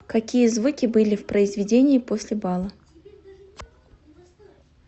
какие звуки были в произведении после бала